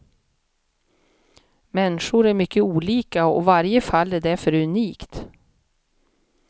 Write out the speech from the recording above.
Människor är mycket olika och varje fall är därför unikt.